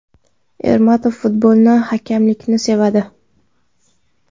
Ermatov futbolni, hakamlikni sevadi.